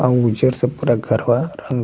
और उज्जर से पूरा घर बा रंग --